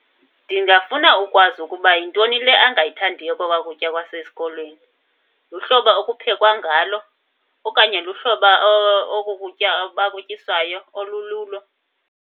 Ndingafuna ukwazi ukuba yintoni le angayithandiyo kokwaa kutya kwasesikolweni. Luhlobo okuphekwa ngalo okanye luhlobo oku kutya bakutyiswayo olululo?